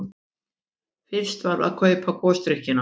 Fyrst var að kaupa gosdrykkina.